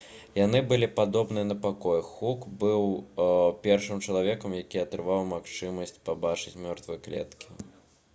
яны былі падобны на пакоі хук быў першым чалавекам які атрымаў магчымасць пабачыць мёртвыя клеткі